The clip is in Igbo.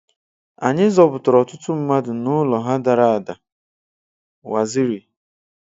Anyị zọpụtara ọtụtụ mmadụ n'ụlọ ha dara ada-Waziri